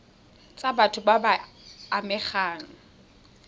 tsa batho ba ba amegang